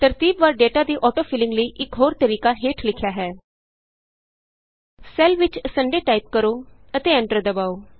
ਤਰਤੀਬਵਾਰ data ਦੀ auto filling ਲਈ ਇਕ ਹੋਰ ਤਰੀਕਾ ਹੇਠ ਲਿਖਿਆ ਹੈ ਸੈੱਲ ਵਿਚ Sundayਟਾਈਪ ਕਰੋ ਅਤੇ ਐਂਟਰ ਦਬਾਉ